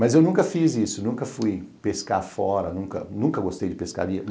Mas eu nunca fiz isso, nunca fui pescar fora, nunca gostei de pescaria.